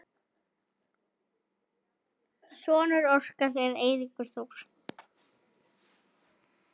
Sonur Óskars er Eiríkur Þór.